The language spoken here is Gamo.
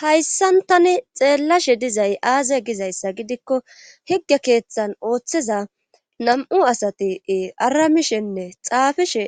hayssan tani xeelashe dizay aaze gizayssa gidikko hige keethan oothiza namu asati aramishenne xaafishe